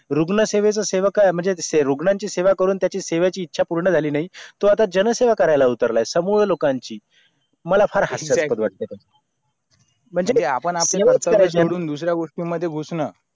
रुगनं सेवा हेच राठ काय है कि रुघनांची सेवा करून त्याची सेवा ची इच्छा पूर्ण झाली नाही तो आता जन सेवा करायला उतरला आहे मला म्हणजे आपण आपले दुसरे गोष्टी मध्ये घुसन